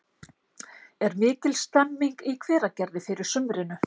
Er mikil stemming í Hveragerði fyrir sumrinu?